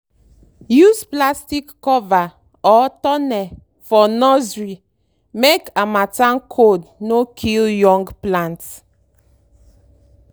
use plastic cover or tunnel for nursery make harmattan cold no kill young plants.